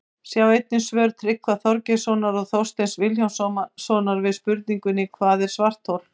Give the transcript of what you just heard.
Sjá einnig svör Tryggva Þorgeirssonar og Þorsteins Vilhjálmssonar við spurningunum Hvað er svarthol?